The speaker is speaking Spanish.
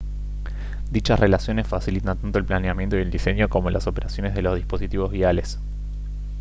dichas relaciones facilitan tanto el planeamiento y el diseño como las operaciones de los dispositivos viales